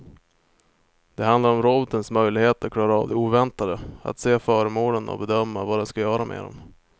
Det handlar om robotens möjlighet att klara av det oväntade, att se föremålen och bedöma vad den ska göra med dem.